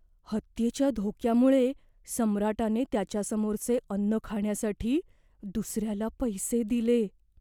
हत्येच्या धोक्यामुळे सम्राटाने त्याच्यासमोरचे अन्न खाण्यासाठी दुसऱ्याला पैसे दिले.